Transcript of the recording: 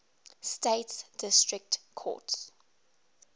states district courts